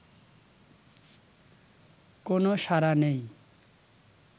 কোন সাড়া নেই